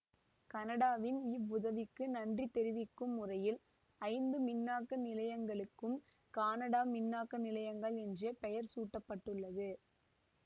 கனடாவின் இவ்வுதவிக்கு நன்றி தெரிவிக்கும் முறையில் ஐந்து மின்னாக்க நிலையங்களுக்கும் கானடா மின்னாக்க நிலையங்கள் என்றே பெயர் சூட்ட பட்டுள்ளது